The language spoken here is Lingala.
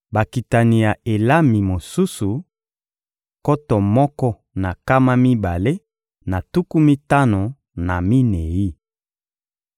Bakitani ya Elami mosusu: nkoto moko na nkama mibale na tuku mitano na minei.